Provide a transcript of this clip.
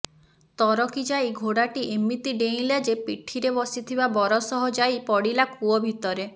ତରକି ଯାଇ ଘୋଡ଼ାଟି ଏମିତି ଡେଇଁଲା ଯେ ପିଠିରେ ବସିଥିବା ବର ସହ ଯାଇ ପଡ଼ିଲା କୂଅ ଭିତରେ